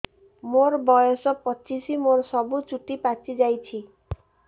ମୋର ବୟସ ପଚିଶି ମୋର ସବୁ ଚୁଟି ପାଚି ଯାଇଛି